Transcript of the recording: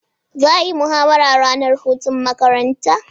Za'a yi muhawara ranar hutun matakarta